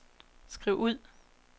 skriv ud